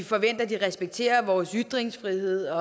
forventer at de respekterer vores ytringsfrihed